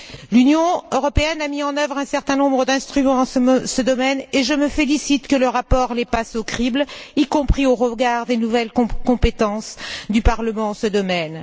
L'Union européenne a mis en œuvre un certain nombre d'instruments dans ce domaine, et je me félicite que le rapport les passe au crible, y compris au regard des nouvelles compétences du Parlement dans ce domaine.